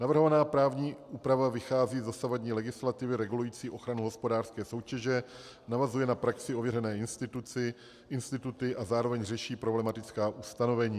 Navrhovaná právní úprava vychází z dosavadní legislativy regulující ochranu hospodářské soutěže, navazuje na praxí ověřené instituty a zároveň řeší problematická ustanovení.